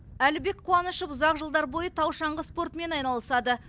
әлібек қуанышев ұзақ жылдар бойы тау шаңғы спортымен айналысады